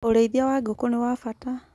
Ũrĩithia wa ngũkũ nĩwa bata